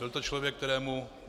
Byl to člověk, kterému...